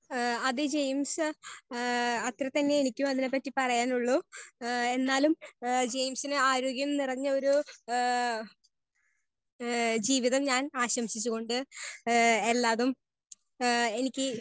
Speaker 1 ഏ അത് James ഏ അത്രെ തന്നെ എനിക്ക് അതിനെ പറ്റി പറയാനൊള്ളു. ഏ എന്നാലും ജെയിംസ് ന് ആരോഗ്യം നിറഞ്ഞ ഒര്‌ ജീവിതം ഞാൻ ആശംസിച്ച് കൊണ്ട് ഏ എല്ലാതും ഏ എനിക്ക്.